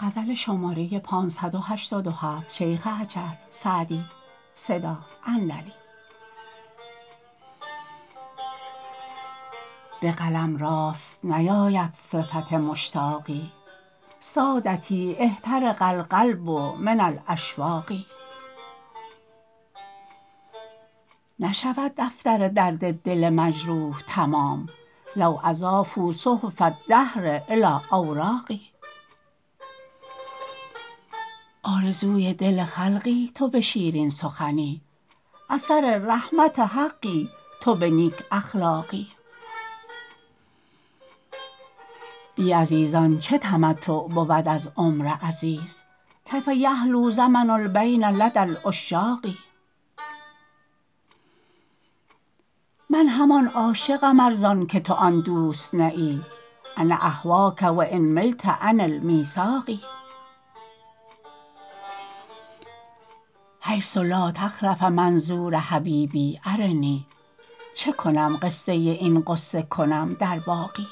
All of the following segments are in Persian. به قلم راست نیاید صفت مشتاقی سادتی احترق القلب من الاشواق نشود دفتر درد دل مجروح تمام لو اضافوا صحف الدهر الی اوراقی آرزوی دل خلقی تو به شیرین سخنی اثر رحمت حقی تو به نیک اخلاقی بی عزیزان چه تمتع بود از عمر عزیز کیف یحلو زمن البین لدی العشاق من همان عاشقم ار زان که تو آن دوست نه ای انا اهواک و ان ملت عن المیثاق حیث لا تخلف منظور حبیبی ارنی چه کنم قصه این غصه کنم در باقی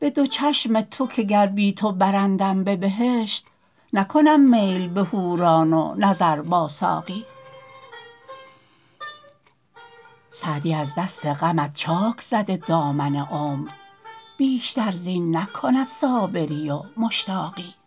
به دو چشم تو که گر بی تو برندم به بهشت نکنم میل به حوران و نظر با ساقی سعدی از دست غمت چاک زده دامن عمر بیشتر زین نکند صابری و مشتاقی